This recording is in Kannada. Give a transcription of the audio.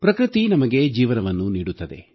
ಪ್ರಕೃತಿ ನಮಗೆ ಜೀವನವನ್ನು ನೀಡುತ್ತದೆ